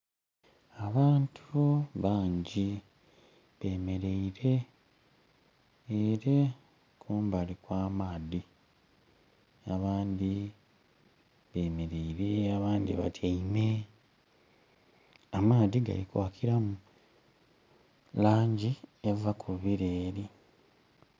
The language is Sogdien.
Abantu bangi bemeleire ere kumbali kwa maadhi abandhi bemeleire abandhi batyeime. Amaadhi gali kwakiramu langi eva ku bileri.